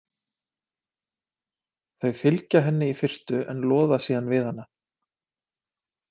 Þau fylgja henni í fyrstu en loða síðan við hana.